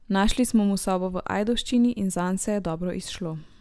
Našli smo mu sobo v Ajdovščini in zanj se je dobro izšlo.